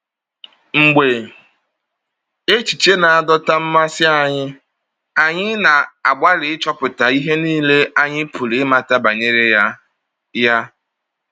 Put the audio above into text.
Mgbe echiche na-adọta mmasị anyị, anyị na-agbalị ịchọpụta ihe nile anyị pụrụ ịmata banyere ya. ya.